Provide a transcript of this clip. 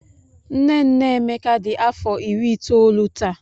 Nne nne Emeka dị afọ iri itoolu taa.